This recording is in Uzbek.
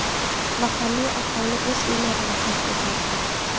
Mahalliy aholi o‘z uylarini tark etmoqda.